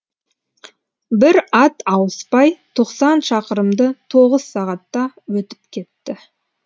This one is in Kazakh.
бір ат ауыспай тоқсан шақырымды тоғыз сағатта өтіп кетті